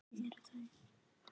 Mér brá.